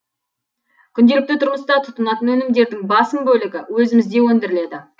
күнделікті тұрмыста тұтынатын өнімдердің басым бөлігі өзімізде өндіріледі